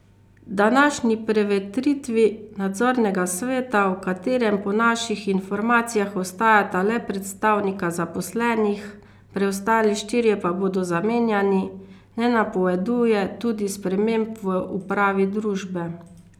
Današnji prevetritvi nadzornega sveta, v katerem po naših informacijah ostajata le predstavnika zaposlenih, preostali štirje pa bodo zamenjani, ne napoveduje tudi sprememb v upravi družbe.